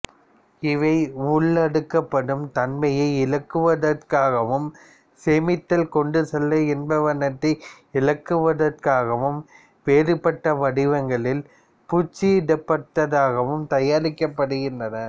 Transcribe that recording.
இவை உள்ளெடுக்கப்படும் தன்மையை இலகுவாக்குவதற்காகவும் சேமித்தல் கொண்டுசெல்லல் என்பவற்றை இலகுவாக்குவதற்காகவும் வேறுபட்ட வடிவங்களிலும் பூச்சிடப்பட்டதாகவும் தயாரிக்கப்படுகின்றன